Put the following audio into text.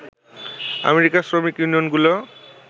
আমেরিকার শ্রমিক ইউনিয়নগুলো